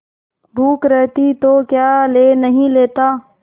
भूख रहती तो क्या ले नहीं लेता